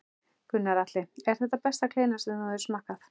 Gunnar Atli: Er þetta besta kleina sem þú hefur smakkað?